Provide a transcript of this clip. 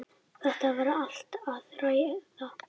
Þetta verði allt að ræða.